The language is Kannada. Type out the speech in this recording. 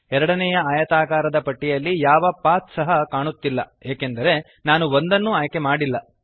ಎರಡನೆಯ ಆಯತಾಕಾರದ ಪಟ್ಟಿಯಲ್ಲಿ ಯಾವ ಪಾಥ್ ಸಹ ಕಾಣಿಸುತ್ತಿಲ್ಲ ಏಕೆಂದರೆ ನಾನು ಒಂದನ್ನೂ ಆಯ್ಕೆ ಮಾಡಲಿಲ್ಲ